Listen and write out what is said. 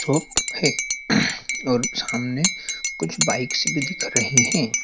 है और सामने कुछ बाइक्स भी दिख रही है।